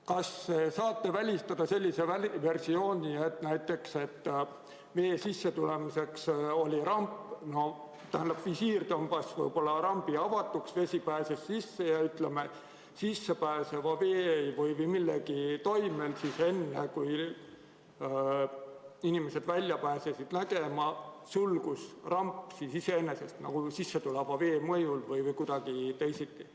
Kas saate välistada sellise versiooni, et visiir tõmbas rambi avatuks, vesi pääses sisse, aga enne kui inimesed välja pääsesid ja rampi nägid, sulgus ramp iseenesest sissetuleva vee mõjul või kuidagi teisiti?